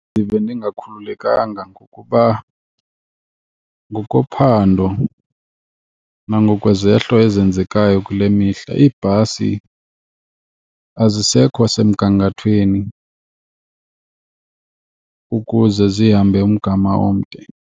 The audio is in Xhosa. Ndive ndingakhululekanga ngokuba ngokophando nangokwezehlo ezenzekayo kule mihla, iibhasi azisekho semgangathweni ukuze zihambe umgama omde.